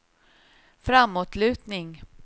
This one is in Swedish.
framåtlutning